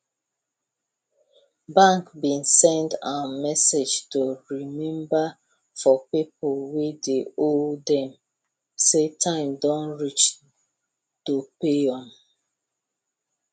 bank been send um message to remember for people wey dey owe them say time don reach to pay am